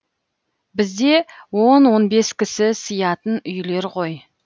бізде он он бес кісі сыятын үйлер ғой